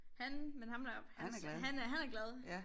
Han men ham deroppe han ser han er han er glad